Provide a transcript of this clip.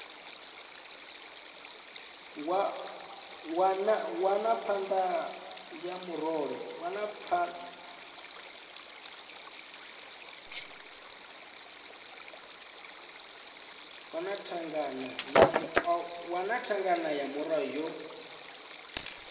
wana thangana ya murole yo